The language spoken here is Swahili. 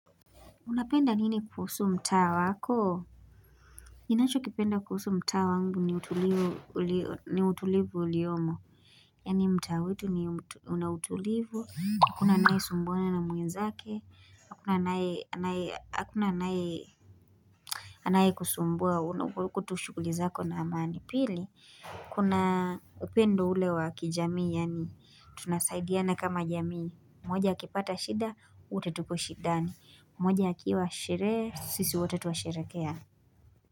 Unapenda nini kuhusu mtaa wako? Ninacho kipenda kuhusu mtaa wangu ni utulivu uliyomo. Yani mtaa wetu ni una utulivu. Hakuna anayesumbuana mwenzake. Hakuna anaye. Hakuna anaye kuhusumbua uko tu shukuli zako na amani. Pili, kuna upendo ule wakijamii. Yani, tunasaidiana kama jamii. Moja akipata shida, wote tuko shidani. Moja akiwa shere, sisi wote twasherekea.